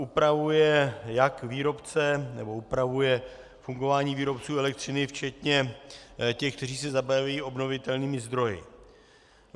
Upravuje jak výrobce, nebo upravuje fungování výrobců elektřiny včetně těch, kteří se zabývají obnovitelnými zdroji.